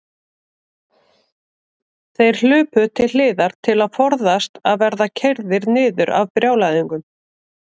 Þeir hlupu til hliðar til að forðast að verða keyrðir niður af brjálæðingnum.